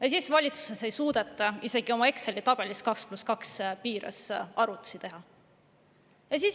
Aga siis ei suuda valitsus Exceli tabelis isegi 2 + 2 piires arvutusi teha.